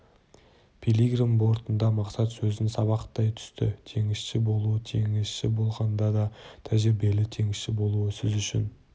пилигрим бортында мақсат сөзін сабақтай түсті теңізші болуы теңізші болғанда да тәжірибелі теңізші болуы сіз үшін